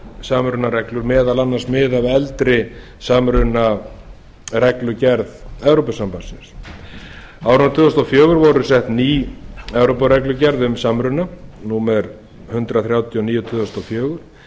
samrunareglur meðal annars mið af eldri samrunareglugerð evrópusambandsins á árinu tvö þúsund og fjögur var sett ný evrópureglugerð um samruna númer hundrað þrjátíu og níu tvö þúsund og fjögur